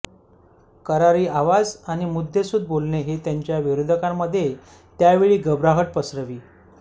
करारी आवाज आणि मद्देसूद बोलणे हे त्यांच्या विरोधकांमध्ये त्यावेळी घबराहट पसरवी